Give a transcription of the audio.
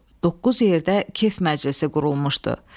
Doqquz yerdə kef məclisi qurulmuşdu.